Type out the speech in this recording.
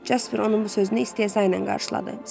Jasper onun bu sözünü istehza ilə qarşıladı.